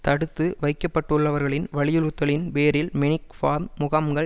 தடுத்து வைக்கப்பட்டுள்ளவர்களின் வலியுறுத்தலின் பேரில் மெக் ஃபார்ம் முகாம்கள்